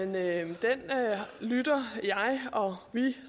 med og